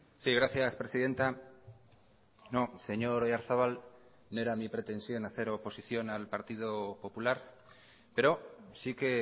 sí gracias presidenta no señor oyarzabal no era mi pretensión hacer oposición al partido popular pero sí que